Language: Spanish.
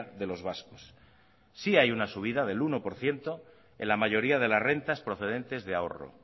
de los vascos sí hay una subida del uno por ciento en la mayoría de las rentas procedentes de ahorro